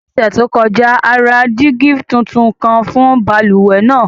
Ní ọṣẹ to kọja, a ra dígi tuntun kan fún bálúwẹ̀ naa.